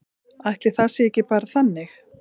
Ætli það sé ekki bara þannig.